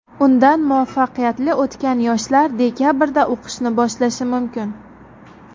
Undan muvaffaqiyatli o‘tgan yoshlar dekabrda o‘qishni boshlashi mumkin.